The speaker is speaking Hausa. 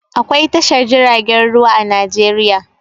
Akwai tashar jiragen ruwa a Najeriya.